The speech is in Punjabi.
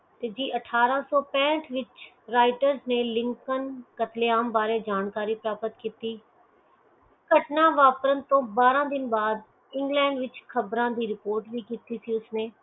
ਤੇ ਜੇ ਅਠਾਰਸੋ ਪੇਂਟਾਲਿਸ ਵਿਚ writer ਨੈ ਲਿੰਕਨ ਅਤੇਲਾਮ ਬਾਰੇ ਜਾਣਕਾਰੀ ਪ੍ਰਾਪਤ ਕੀਤੀ ਕੱਟਣਾ ਵਾਪਰਨ ਤੋਂ ਬਆਰਾ ਦਿਨ ਬਾਅਦ ਇੰਗਲੈਂਡ ਵਿਚ ਖ਼ਬਰ ਦੀ ਰਿਪੋਰਟ ਕੀਤੀ ਸੀ ਉਸਨੈ